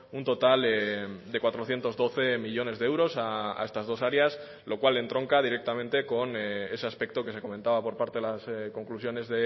un total de cuatrocientos doce millónes de euros a estas dos áreas lo cual entronca directamente con ese aspecto que se comentaba por parte de las conclusiones